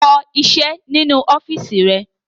Kọṣẹ́ nínú ọ́fíísì rẹ!